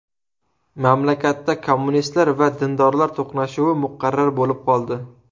Mamlakatda kommunistlar va dindorlar to‘qnashuvi muqarrar bo‘lib qoldi.